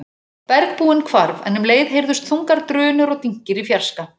Bergbúinn hvarf en um leið heyrðust þungar drunur og dynkir í fjarska.